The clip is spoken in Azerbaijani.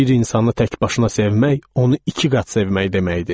Bir insanı təkbaşına sevmək onu iki qat sevmək deməkdir.